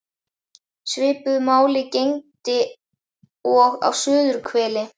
Svipuðu máli gegndi og á suðurhveli.